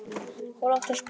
gola oftast bjartviðri.